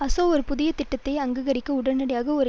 அசொ ஒரு புதிய திட்டத்தை அங்கீகரிக்க உடனடியாக ஒரு